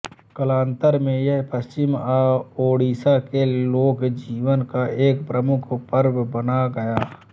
कालान्तर में यह पश्चिम ओड़िशा के लोकजीवन का एक प्रमुख पर्व बन गया